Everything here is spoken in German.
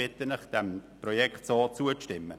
Ich bitte Sie, dem Projekt in dieser Form zuzustimmen.